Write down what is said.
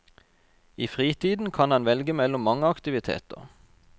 I fritiden kan han velge mellom mange aktiviteter.